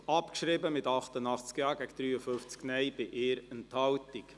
Sie haben diese Motion abgeschrieben, mit 88 Ja- gegen 53 Nein-Stimmen bei 1 Enthaltung.